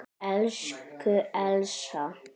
Elsku Elsa.